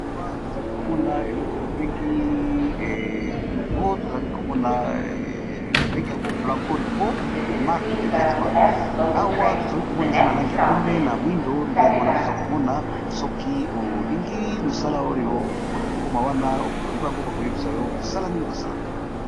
Awa tozali komona elogo gelogo tozbabengi yango blancorico marke de veteman awa tozali komona eza na lange ya pembe na mwindo nde yango wana toza komona soki olingi mosala oyo mokoma wana otuli bango bakoyebisa yo mosala nini basalaka.